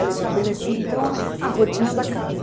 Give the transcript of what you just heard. Ela estabelecia, então, a a rotina da casa.